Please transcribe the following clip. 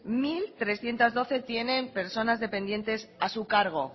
mil trescientos doce tienen personas dependientes a su cargo